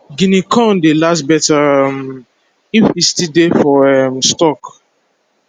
guinea corn dey last better um if e still dey for um stalk